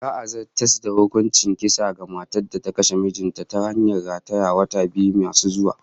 Za'a zartas da hukuncin kisa ga matar da ta kashe mijin ta ta hanyar ratayewa, wata biyu masu zuwa